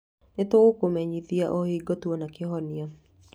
Nĩ tũgũkũmenyithia o hingo tuona kĩhonia.